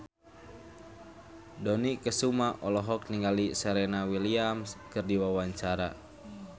Dony Kesuma olohok ningali Serena Williams keur diwawancara